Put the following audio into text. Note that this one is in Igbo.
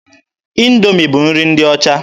Indoomi bụ nri ndị ọcha.